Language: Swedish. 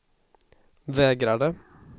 vägrade